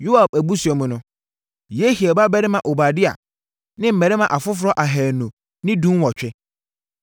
Yoab abusua mu no: Yehiel babarima Obadia ne mmarima afoforɔ ahanu ne dunwɔtwe.